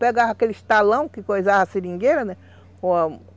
Pegava aqueles talão que coisava a seringueira, né?